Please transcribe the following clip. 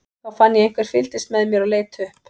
Þá fann ég að einhver fylgdist með mér og leit upp.